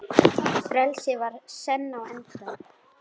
Frelsið var senn á enda.